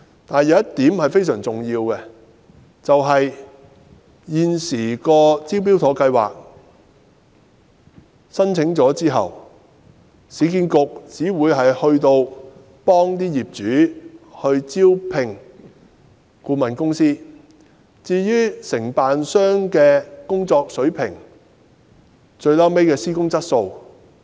但是，有一點非常重要，就是在現時的"招標妥"計劃下，業主提交申請後，市建局只會協助業主招聘顧問公司，而不會干涉承辦商的工作水平和施工質素。